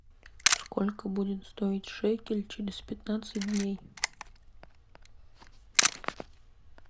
сколько будет стоить шекель через пятнадцать дней